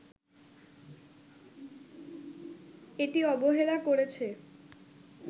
এটি অবহেলা করেছে